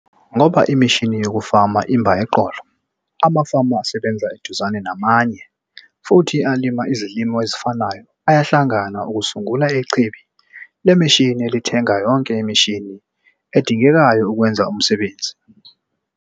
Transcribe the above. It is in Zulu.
Ngoba imishini yokufama imba eqolo, amafama asebenza eduzane namanye futhi alima izilimo ezifanayo ayahlangana ukusungula ichibi lemishini elithenga yonke imishini edingekayo ukwenza umsebenzi.